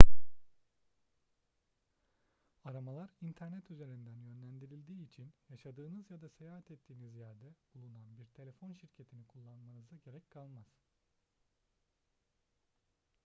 aramalar i̇nternet üzerinden yönlendirildiği için yaşadığınız ya da seyahat ettiğiniz yerde bulunan bir telefon şirketini kullanmanıza gerek kalmaz